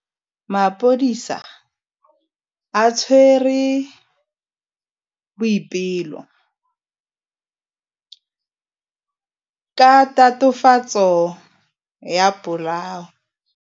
Maphodisa a tshwere Boipelo ka tatofatsô ya polaô.